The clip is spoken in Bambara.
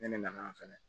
Ne ne nana fɛnɛ